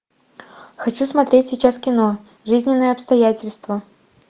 хочу смотреть сейчас кино жизненные обстоятельства